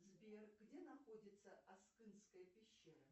сбер где находится аскынская пещера